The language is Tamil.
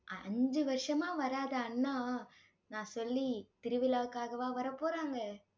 அஞ்சு வருஷமா வராத அண்ணா நான் சொல்லி திருவிழாவுக்காகவா வரப்போறாங்க